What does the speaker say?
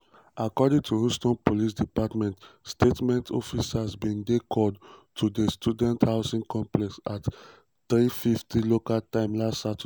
um according to houston police department statement officers bin dey called to di student housing complex at 15:50 local time last saturday.